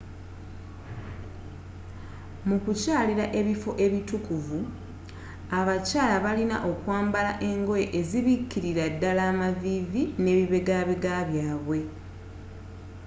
mukukyalila ebifo eitukuvvu abakyala balina okwambala engoye ezzibikililaddala amavivi n'ebibegabega byabwe